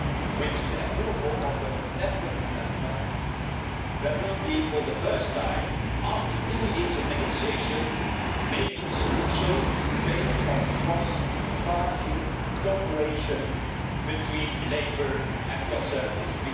With the approval of the Letwin amendment, there will be for the first time after two years of negotiation maybe a solution based on cross party cooperation between Labour and the Conservatives.